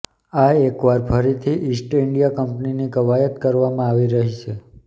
આ એકવાર ફરીથી ઈસ્ટ ઈન્ડિયા કંપનીની કવાયત કરવામાં આવી રહી છે